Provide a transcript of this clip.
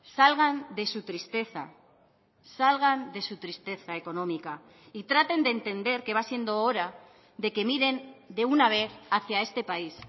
salgan de su tristeza salgan de su tristeza económica y traten de entender que va siendo hora de que miren de una vez hacia este país